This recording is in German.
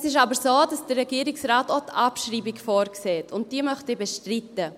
Es ist aber so, dass der Regierungsrat auch die Abschreibung vorsieht, und diese möchte ich bestreiten.